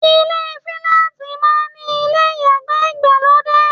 Ilé fíláàtì máa ń ní ilé ìyàgbẹ́ ìgbàlódé.